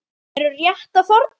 Þau eru rétt að þorna!